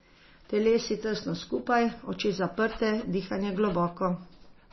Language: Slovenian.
Telesi tesno skupaj, oči zaprte, dihanje globoko.